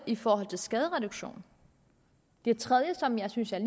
i forhold til skadereduktion det tredje som jeg synes er